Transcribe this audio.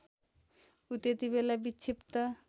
ऊ त्यतिबेला विक्षिप्त